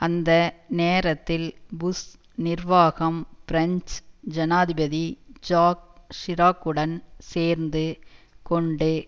அந்த நேரத்தில் புஷ் நிர்வாகம் பிரெஞ்சு ஜனாதிபதி ஜாக் சிராக்குடன் சேர்ந்து கொண்டு